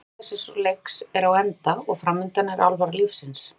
Tími sakleysis og leiks er á enda og framundan er alvara lífsins.